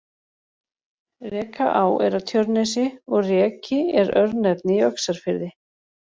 Rekaá er á Tjörnesi og Reki er örnefni í Öxarfirði.